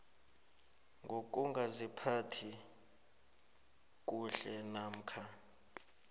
ngokungaziphathi kuhle namkha